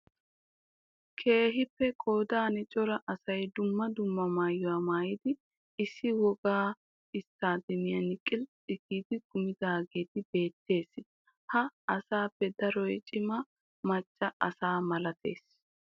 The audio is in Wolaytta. Keehippe qoodan cora asay dumma dumma maayuwaa maayidi issi wogga stadeemiyan qilxxi giidi kumidaagee beettees. Ha asaappe daroy cima maccaa asaa malatees.